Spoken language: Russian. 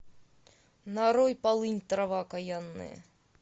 нарой полынь трава окаянная